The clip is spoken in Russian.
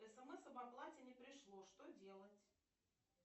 смс об оплате не пришло что делать